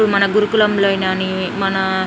మన గురుకులంలోనైని మన--